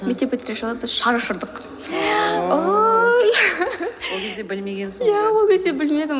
мектеп бітірер жылы біз шар ұшырдық ол кезде білмегенсің ғой иә ол кезде білмедім